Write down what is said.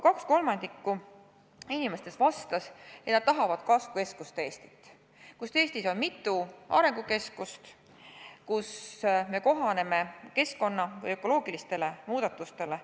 Kaks kolmandikku inimestest vastas, et nad tahavad kasvukeskuste Eestit, kus on mitu arengukeskust, kus suudetakse kohaneda keskkonna ökoloogiliste muudatustega.